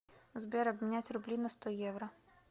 сбер обменять рубли на сто евро